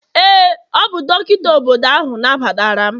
ee, ọ bụ dọkịta obodo ahụ nabatara m